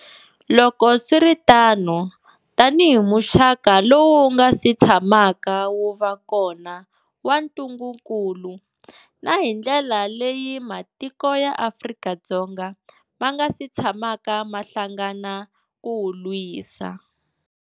Loko swi ri tano, tanihi muxaka lowu wu nga si tshamaka wu va kona wa ntungukulu, na hi ndlela leyi matiko ya Afrika ma nga si tshamaka ma hlangana ku wu lwisa.